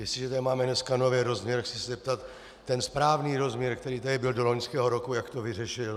Jestliže tady máme dneska nový rozměr, chci se zeptat: Ten správný rozměr, který tady byl do loňského roku, jak to vyřešil?